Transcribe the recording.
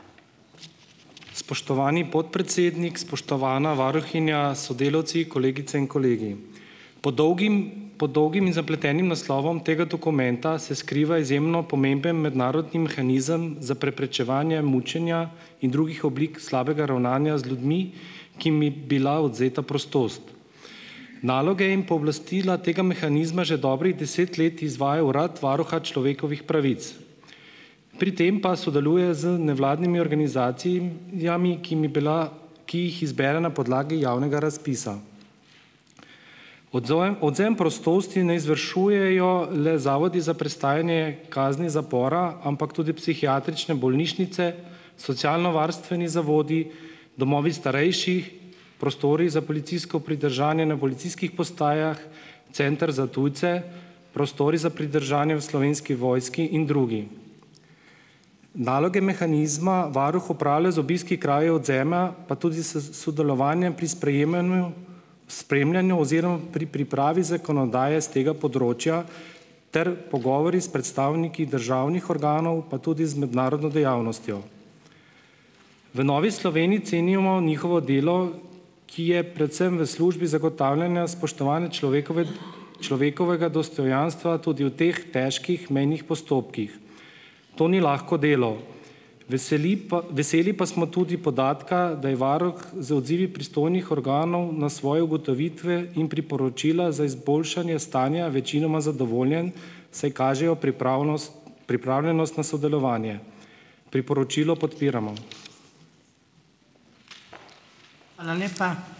Spoštovani podpredsednik, spoštovana varuhinja, sodelavci, kolegice in kolegi! Pod dolgim, pod dolgim in zapletenim naslovom tega dokumenta se skriva izjemno pomemben mednarodni mehanizem za preprečevanje mučenja in drugih oblik slabega ravnanja z ljudmi, ki mi bila odvzeta prostost. Naloge in pooblastila tega mehanizma že dobrih deset let izvaja urad varuha človekovih pravic, pri tem pa sodeluje z nevladnimi organizacijami, ki mi bila, ki jih izbere na podlagi javnega razpisa. odvzem prostosti ne izvršujejo le zavodi za prestajanje kazni zapora, ampak tudi psihiatrične bolnišnice, socialnovarstveni zavodi, domovi starejših, prostori za policijsko pridržanje na policijskih postajah, Center za tujce, prostori za pridržanje v Slovenski vojski in drugi. Naloge mehanizma varuh opravlja z obiski krajev odvzema, pa tudi s s sodelovanjem pri sprejemanju spremljanju oziroma pri pripravi zakonodaje s tega področja ter pogovori s predstavniki državnih organov, pa tudi z mednarodno dejavnostjo. V Novi Sloveniji cenimo njihovo delo, ki je predvsem v službi zagotavljanja spoštovanja človekove človekovega dostojanstva tudi v teh težkih mejnih postopkih. To ni lahko delo. Veseli pa veseli pa smo tudi podatka, da je varuh z odzivi pristojnih organov na svoje ugotovitve in priporočila za izboljšanje stanja večinoma zadovoljen, saj kažejo pripravnost pripravljenost na sodelovanje. Priporočilo podpiramo.